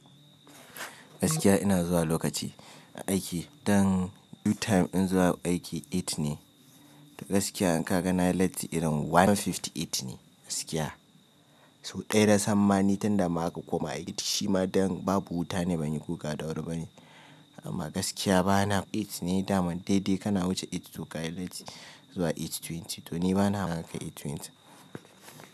Gaskiya ina zuwa lokaci aiki, dan due time in zuwa aiki eight ne. To gaskiya in ka ga na latti irin ɗaya hamsin da takwas ne gaskiya. So ɗaya nasan ma ni tun da ma aka koma aiki shima dan babu wuta ne ban yi guga da wuri bane. Amma gaskiya bana eight ne dama dai-dai kana wuce eight to ka yi latti zuwa eight twenty. To ni bana maka eight twenty.